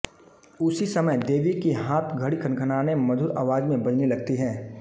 उसी समय देवी की हाथ घड़ी खनखनाने मधुर आवाज में बजने लगती है लगती है